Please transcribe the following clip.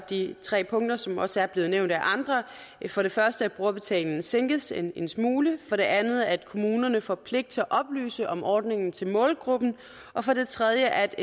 de tre punkter som også er blevet nævnt af andre for det første at brugerbetalingen sænkes en en smule for det andet at kommunerne får pligt til at oplyse om ordningen til målgruppen og for det tredje at